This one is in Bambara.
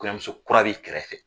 Kɔɲɔmuso kura b'i kɛrɛfɛ